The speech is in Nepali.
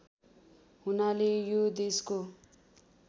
हुनाले यो देशको